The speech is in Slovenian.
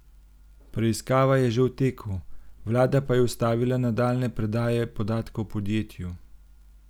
Preiskava je že v teku, vlada pa je ustavila nadaljnje predaje podatkov podjetju.